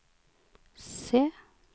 C